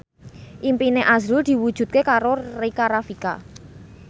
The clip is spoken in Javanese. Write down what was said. impine azrul diwujudke karo Rika Rafika